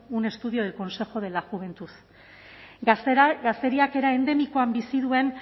un estudio del consejo de la juventud gazteriak era endemikoan bizi duen